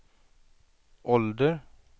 ålder